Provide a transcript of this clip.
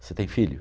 Você tem filho?